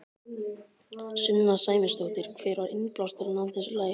Sunna Sæmundsdóttir: Hver var innblásturinn að þessu lagi?